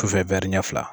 Sufɛ ɲɛ fila